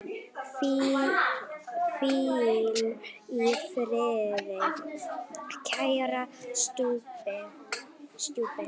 Hvíl í friði, kæri stjúpi.